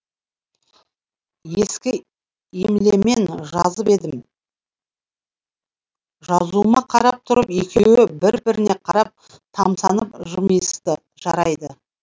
ескі емлемен жазып едім жазуыма қарап тұрып екеуі бір біріне қарап тамсанып жымиысты жарайды